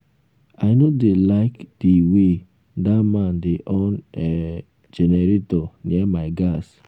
i no dey like the um way dat man dey on um generator near my gas